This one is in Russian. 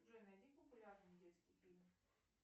джой найди популярный детский фильм